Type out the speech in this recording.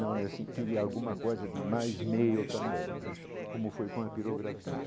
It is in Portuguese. Não, eu queria alguma coisa de mais meu também né, como foi com a pirografia.